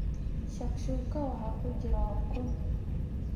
Shakshuka waxaa ku jira ukun.